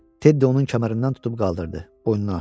Ted onu kəmərindən tutub qaldırdı, boynuna asdı.